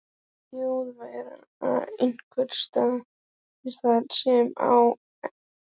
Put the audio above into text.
Þjóðverja einhvers staðar þar sem ekki sást til ykkar?